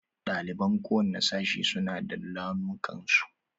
Ɗaliban kowane sashi su na da launukan su.